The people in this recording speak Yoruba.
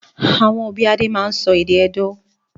Àwọn òbí Adé máa ń sọ èdè Edó.